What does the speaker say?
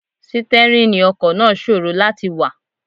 Sítẹ́rìnì ọkọ̀ náà ṣòro láti wà.